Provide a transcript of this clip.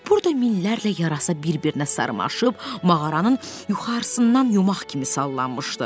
Burada minlərlə yarasa bir-birinə sarmaşıb mağaranın yuxarısından yumag kimi sallanmışdı.